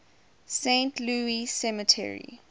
saint louis cemetery